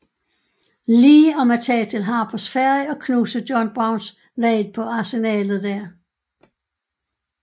Lee om at tage til Harpers Ferry og knuse John Browns raid på arsenalet der